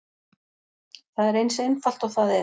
Það er eins einfalt og það er.